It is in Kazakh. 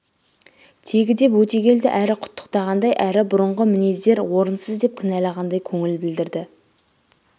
тегі деп өтегелді әрі құтіықтағандай әрі бұрынғы мінездер орынсыз деп кінәлағандай көңіл білдірді